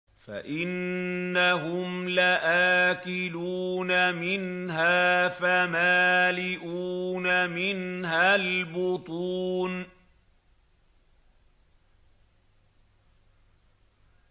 فَإِنَّهُمْ لَآكِلُونَ مِنْهَا فَمَالِئُونَ مِنْهَا الْبُطُونَ